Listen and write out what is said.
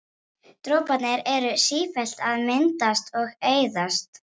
Droparnir eru sífellt að myndast og eyðast.